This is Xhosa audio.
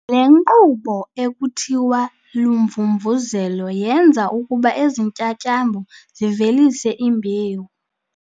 Le nkqubo ekuthiwa lumvumvuzelo yenza ukuba ezi ntyatyambo zivelise imbewu.